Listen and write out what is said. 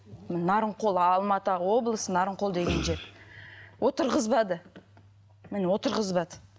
нарынқол алматы облысы нарынқол деген жер отырғызбады міне отырғызбады